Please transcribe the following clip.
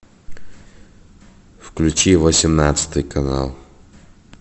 включи восемнадцатый канал